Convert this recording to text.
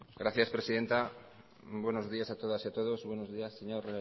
gracias presidenta buenos días a todas y a todos buenos días señor